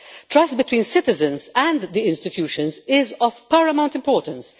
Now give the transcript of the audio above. Trust between citizens and the institutions is of paramount importance.